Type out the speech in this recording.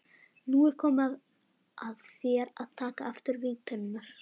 Nú er komið að þér að taka aftur vígtennurnar.